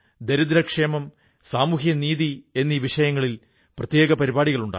സുഹൃത്തുക്കളേ ഈയിടെ മഹാരാഷ്ട്രയിൽ നടന്ന ഒരു സംഭവം എന്റെ ശ്രദ്ധയിൽ പെട്ടു